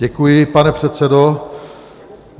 Děkuji, pane předsedo.